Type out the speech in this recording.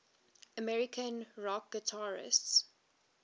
american rock guitarists